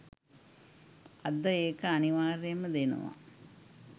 අද ඒක අනිවාර්යයෙන්ම දෙනවා.